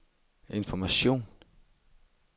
information